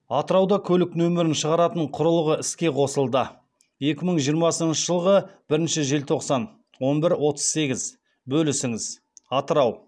атырауда көлік нөмірін шығаратын құрылғы іске қосылды екі мың жиырмасыншы жылғы бірінші желтоқсан он бір отыз сегіз бөлісіңіз атырау